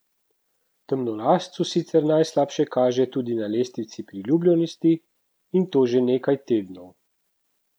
Temnolascu sicer najslabše kaže tudi na lestvici priljubljenosti, in to že nekaj tednov.